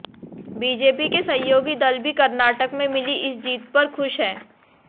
BJP के सहयोगी दल भी कर्नाटक में मिली इस जीत पर ख़ुश है